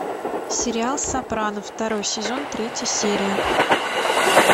сериал сопрано второй сезон третья серия